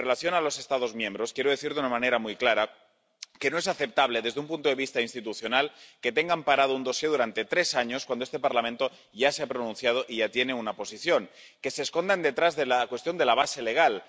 Y en relación con los Estados miembros, quiero decir de una manera muy clara que no es aceptable desde un punto de vista institucional que tengan parado un dosier durante tres años, cuando este Parlamento ya se ha pronunciado y ya tiene una posición, y que se escondan detrás de la cuestión de la base legal.